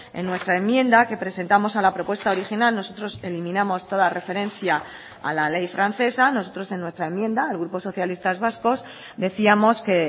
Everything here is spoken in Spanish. en nuestra enmienda que presentamos a la propuesta original nosotros eliminamos toda referencia a la ley francesa nosotros en nuestra enmienda el grupo socialistas vascos decíamos que